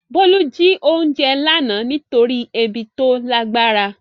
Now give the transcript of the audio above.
Bolu jí oúnjẹ lánàá nítorí ebi tó lágbára.